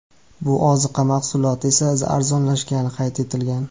Bu ozuqa mahsuloti esa arzonlashgani qayd etilgan.